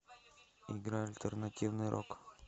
играй альтернативный рок